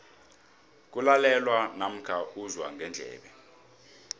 kulalelwa namkha uzwa ngendlebe